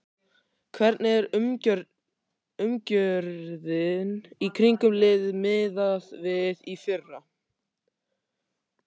Hvernig er umgjörðin í kringum liðið miðað við í fyrra?